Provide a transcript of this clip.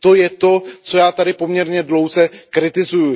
To je to, co já tady poměrně dlouze kritizuju.